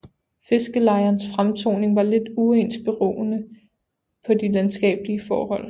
Fiskerlejernes fremtoning var lidt uens beroende på de landskabelige forhold